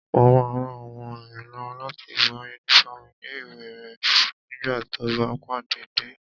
Mo máa ran ọmọ mi lọ́wọ́ láti bọ́ yúnífọ́ọ̀mù ilé-ìwé rẹ̀ nígbà tó bá padà dé